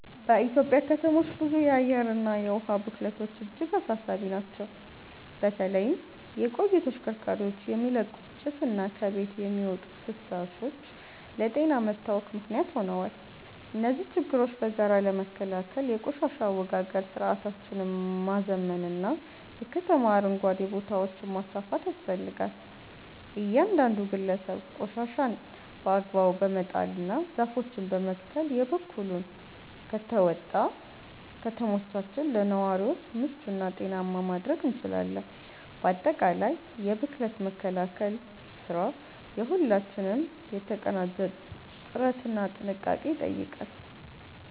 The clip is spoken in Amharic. በኢትዮጵያ ከተሞች ውስጥ የአየርና የውሃ ብክለቶች እጅግ አሳሳቢ ናቸው። በተለይም የቆዩ ተሽከርካሪዎች የሚለቁት ጭስና ከቤቶች የሚወጡ ፍሳሾች ለጤና መታወክ ምክንያት ሆነዋል። እነዚህን ችግሮች በጋራ ለመከላከል የቆሻሻ አወጋገድ ስርዓታችንን ማዘመንና የከተማ አረንጓዴ ቦታዎችን ማስፋፋት ያስፈልጋል። እያንዳንዱ ግለሰብ ቆሻሻን በአግባቡ በመጣልና ዛፎችን በመትከል የበኩሉን ከተወጣ፣ ከተሞቻችንን ለነዋሪዎች ምቹና ጤናማ ማድረግ እንችላለን። ባጠቃላይ የብክለት መከላከል ስራ የሁላችንንም የተቀናጀ ጥረትና ጥንቃቄ ይጠይቃል።